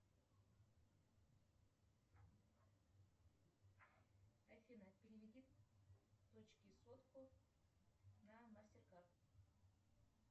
афина переведи дочке сотку на мастеркард